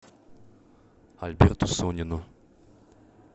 альберту сонину